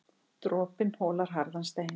Dropinn holar harðan stein.